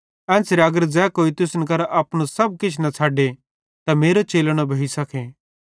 एन्च़रे अगर ज़ै कोई तुसन मरां अपनू सब किछ न छ़डे त मेरो चेलो न भोइसखे